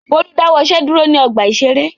Bólú dáwọ́ iṣẹ́ dúró ní ọgbà-ìṣeré.